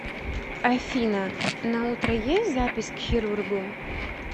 афина на утро есть запись к хирургу